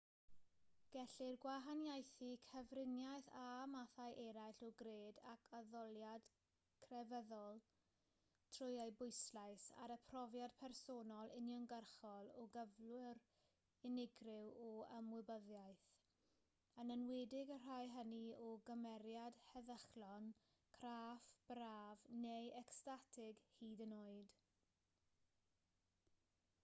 gellir gwahaniaethu cyfriniaeth â mathau eraill o gred ac addoliad crefyddol trwy ei bwyslais ar y profiad personol uniongyrchol o gyflwr unigryw o ymwybyddiaeth yn enwedig y rhai hynny o gymeriad heddychlon craff braf neu ecstatig hyd yn oed